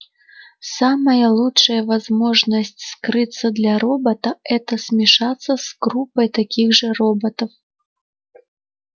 самая лучшая возможность скрыться для робота это смешаться с группой таких же роботов